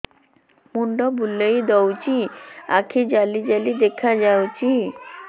ମୁଣ୍ଡ ବୁଲେଇ ଦଉଚି ଆଖି ଜାଲି ଜାଲି ଦେଖା ଯାଉଚି